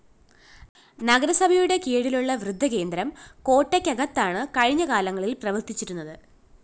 നഗരസഭയുടെ കീഴിലുളള വൃദ്ധ കേന്ദ്രം കോട്ടയ്ക്കകത്താണ് കഴിഞ്ഞ കാലങ്ങളില്‍ പ്രവര്‍ത്തിച്ചിരുന്നത്